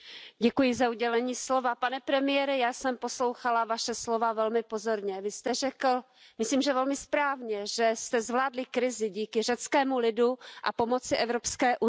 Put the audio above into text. Pane předsedající, pane premiére, já jsem poslouchala Vaše slova velmi pozorně. Vy jste řekl, myslím, že velmi správně, že jste zvládli krizi díky řeckému lidu a pomoci Evropské unie.